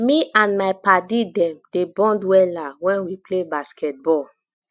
me and my paddy dem dey bond wella wen we play basket ball